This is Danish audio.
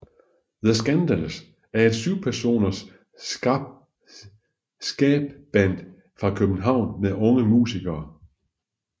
The Skandals er et 7 personers skaband fra København med unge musikere